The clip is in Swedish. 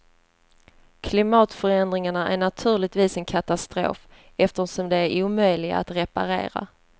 Klimatförändringarna är naturligtvis en katastrof, eftersom de är omöjliga att reparera.